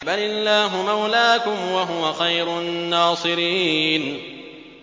بَلِ اللَّهُ مَوْلَاكُمْ ۖ وَهُوَ خَيْرُ النَّاصِرِينَ